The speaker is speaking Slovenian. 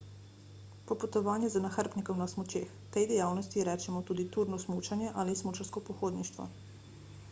popotovanje z nahrbtnikom na smučeh tej dejavnosti rečemo tudi turno smučanje ali smučarsko pohodništvo